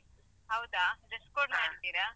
ಹೌದಾ, dress code ಮಾಡಿದಿರಾ?